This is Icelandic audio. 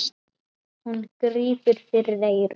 Hún grípur fyrir eyrun.